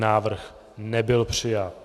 Návrh nebyl přijat.